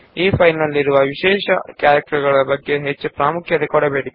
ಈ ಫೈಲ್ ನಲ್ಲಿರುವ ಅಂಕಗಳ ಬಗ್ಗೆ ಹೆಚ್ಚು ತಲೆ ಕೆಡಿಸಿಕೊಳ್ಳಬೇಡಿ